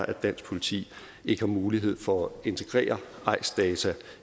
at dansk politi ikke har mulighed for at integrere eis data